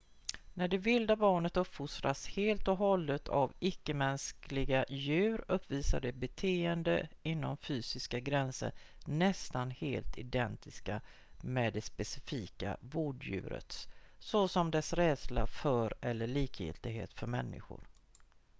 när det vilda barnet uppfostras helt och hållet av icke-mänskliga djur uppvisar det beteenden inom fysiska gränser nästan helt identiska med det specifika vårddjurets såsom dess rädsla för eller likgiltighet för människor